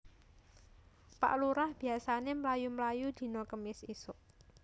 Pak Lurah biasane mlayu mlayu dino Kemis isuk